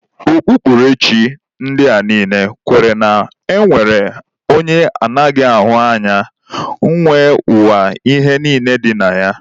Okpukperechi ndị a niile kwenyere na e nwere onye anaghị ahụ anya nwe ụwa na ihe niile dị na ya